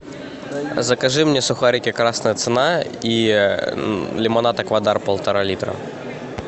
закажи мне сухарики красная цена и лимонад аквадар полтора литра